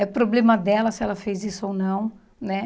É problema dela se ela fez isso ou não, né?